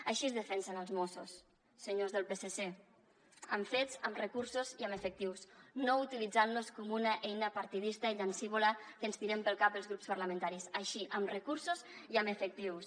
així es defensen els mossos senyors del psc amb fets amb recursos i amb efectius no utilitzant los com una eina partidista i llancívola que ens tirem pel cap els grups parlamentaris així amb recursos i amb efectius